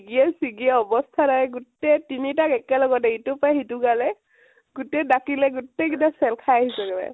ডিঙিয়ে চিঙিয়ে অব্স্তা নাই । গোতেই তিনিটাক একেলগতে, ইটোৰ পৰা সিটো গালে । গোতেই দাকিলে গোতেই কেইতা চেল খাই আহিছো গৈ